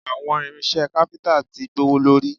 Àwọn irinṣẹ́ káfíntà ti gbówólórí